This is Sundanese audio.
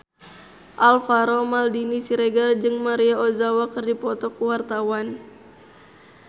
Alvaro Maldini Siregar jeung Maria Ozawa keur dipoto ku wartawan